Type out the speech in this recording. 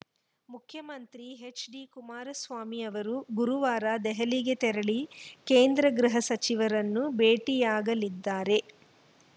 ಮುಖ್ಯಮಂತ್ರಿ ಎಚ್‌ಡಿಕುಮಾರಸ್ವಾಮಿ ಅವರು ಗುರುವಾರ ದೆಹಲಿಗೆ ತೆರಳಿ ಕೇಂದ್ರ ಗೃಹ ಸಚಿವರನ್ನು ಭೇಟಿಯಾಗಲಿದ್ದಾರೆ